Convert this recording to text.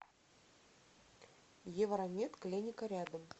евромед клиника рядом